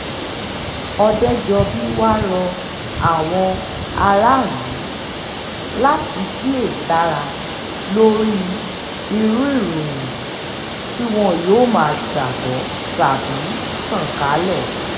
òdejọ́bí wàá rọ àwọn aráàlú láti kíyèsára lórí irú ìròyìn tí wọn yóò máa gbàgbọ́ tàbí tàn kálẹ̀